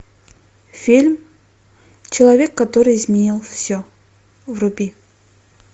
фильм человек который изменил все вруби